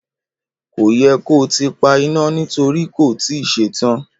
Kò yẹ kó tíì pa ìna nítorí kò tíì ṣe tán